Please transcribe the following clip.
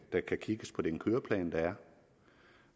der kan kigges på den køreplan der er